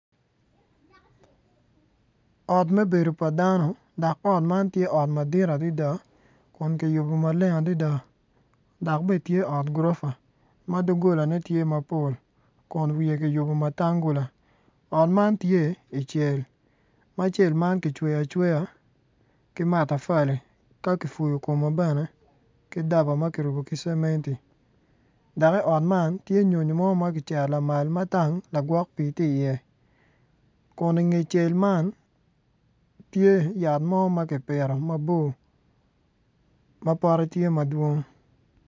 Ot me bedo pa dano dok ot man ti ot madit adida kun ki yubu maleng adida dak be tye ot gurofa ma dogolane tye mapol kun wiye kiyubo matanggula ot man tye i cel ma cel ma kicweyo acweya ki matafuli ka kifuyu kume bene ka daba ma kirubu kommeo ki cementi dak i ot man tye nyonyo mo ma kicero lamal ma tang lagwok pii ti iye kun inge cel man tye yat mo ma kipito mabor ma pote tye madwong